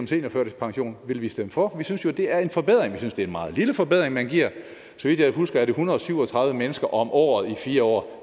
seniorførtidspension vil vi stemme for vi synes jo det er en forbedring vi synes det er en meget lille forbedring man giver så vidt jeg husker er det en hundrede og syv og tredive mennesker om året i fire år